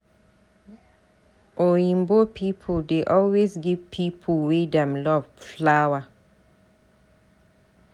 Oyinbo people dey always give pipo wey dem love flower.